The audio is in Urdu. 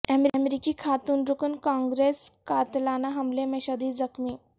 امریکی خاتون رکن کانگرس قاتلانہ حملے میں شدید زخمی